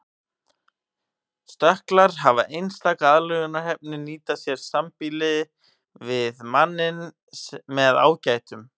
Stökklar hafa einstaka aðlögunarhæfni nýta sér sambýli við manninn með ágætum.